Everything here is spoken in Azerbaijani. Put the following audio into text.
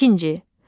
İkinci.